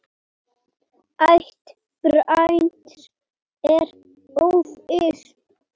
Ætt Brands er óviss.